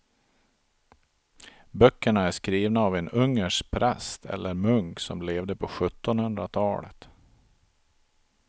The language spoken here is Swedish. Böckerna är skrivna av en ungersk präst eller munk som levde på sjuttonhundratalet.